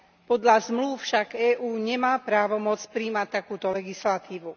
Podľa zmlúv však EÚ nemá právomoc prijímať takúto legislatívu.